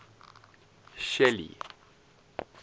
shelly